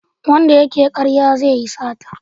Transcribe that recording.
Wanda ya ke karya zai yi sata